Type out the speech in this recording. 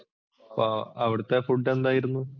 ആ അവിടത്തെ food എന്തായിരുന്നു?